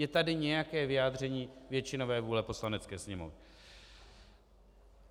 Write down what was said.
Je tady nějaké vyjádření většinové vůle Poslanecké sněmovny.